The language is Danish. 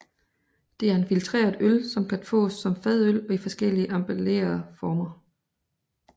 Det er en filtreret øl som kan fås som fadøl og i forskellige emballere former